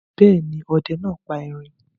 Bẹ́ẹ̀ ni, ọdẹ náà pa erin.